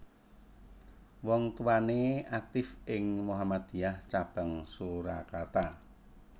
Wong tuwané aktif ing Muhammadiyah cabang Surakarta